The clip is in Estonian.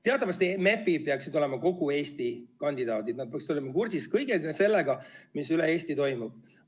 Teatavasti MEP-id peaksid olema kogu Eesti kandidaadid, nad peaksid olema kursis kõige sellega, mis üle Eesti toimub.